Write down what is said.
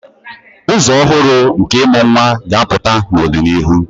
Ụzọ ọhụrụ nke ịmụ nwa ga-apụta n'ọdịnihu.